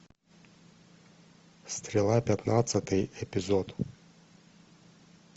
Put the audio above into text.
стрела пятнадцатый эпизод